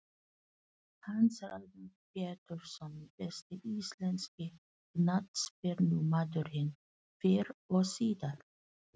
Hans Ragnar Pjetursson Besti íslenski knattspyrnumaðurinn fyrr og síðar?